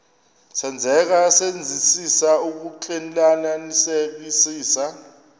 senzeka senzisisa ukuxclelanisekisisa